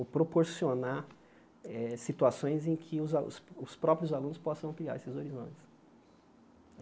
ou proporcionar eh situações em que os alu os os próprios alunos possam ampliar esses horizontes.